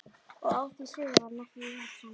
Og á því sviði var hann ekki íhaldssamur.